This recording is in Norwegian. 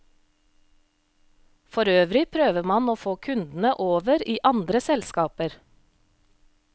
Forøvrig prøver man å få kundene over i andre selskaper.